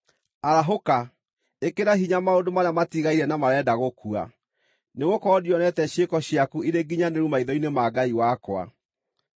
Arahũka! Ĩkĩra hinya maũndũ marĩa matigaire na marenda gũkua, nĩgũkorwo ndionete ciĩko ciaku irĩ nginyanĩru maitho-inĩ ma Ngai wakwa.